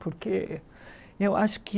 Porque eu acho que